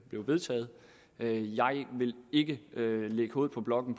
blev vedtaget jeg vil ikke lægge hovedet på blokken